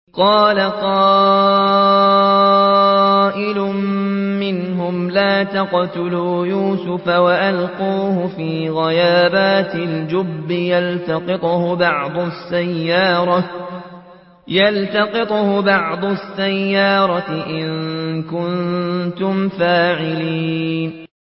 قَالَ قَائِلٌ مِّنْهُمْ لَا تَقْتُلُوا يُوسُفَ وَأَلْقُوهُ فِي غَيَابَتِ الْجُبِّ يَلْتَقِطْهُ بَعْضُ السَّيَّارَةِ إِن كُنتُمْ فَاعِلِينَ